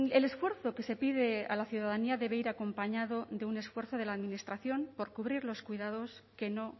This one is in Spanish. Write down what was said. el esfuerzo que se pide a la ciudadanía debe ir acompañado de un esfuerzo de la administración por cubrir los cuidados que no